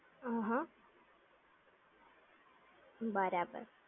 અં હા. બરાબર.